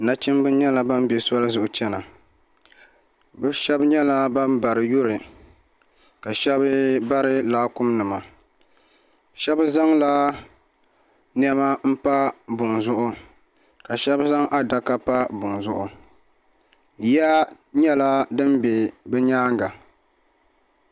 Nachimba nyɛla ban bɛ soli zuɣu chena bɛ sheba nyɛla ban bari yuri ka sheba bari laakumi nima sheba zaŋla niɛma m pa buŋa zuɣu ka sheba zaŋ adaka pa buŋa zuɣu ya nyɛla din be bɛ nyaanga.